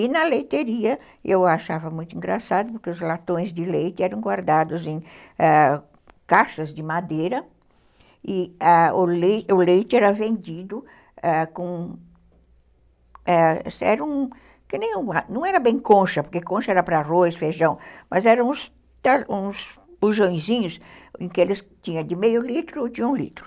E na leiteria, eu achava muito engraçado, porque os latões de leite eram guardados em caixas de madeira e o leite leite era vendido com...Ãh, não era bem concha, porque concha era para arroz, feijão, mas eram uns bujõezinhos em que eles tinham de meio litro ou de um litro.